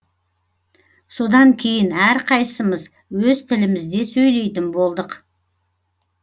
содан кейін әрқайсымыз өз тілімізде сөйлейтін болдық